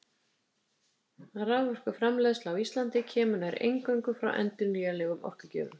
Raforkuframleiðsla á Íslandi kemur nær eingöngu frá endurnýjanlegum orkugjöfum.